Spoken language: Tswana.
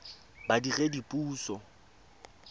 badiredipuso